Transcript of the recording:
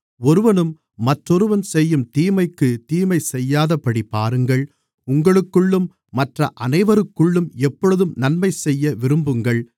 ஒருவனும் மற்றொருவன் செய்யும் தீமைக்குத் தீமைசெய்யாதபடி பாருங்கள் உங்களுக்குள்ளும் மற்ற அனைவருக்குள்ளும் எப்பொழுதும் நன்மைசெய்ய விரும்புங்கள்